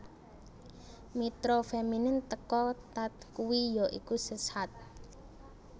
Mitra feminin teka thath kui ya iku Seshat